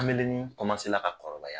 Kamalennin la ka kɔrɔbaya.